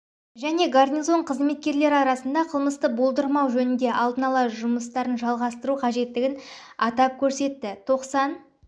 және гарнизон қызметкерлері арасында қылмысты болдырмау жөнінде алдын алу жұмыстарын жалғастыру қажеттілігін атап көрсетті тоқсан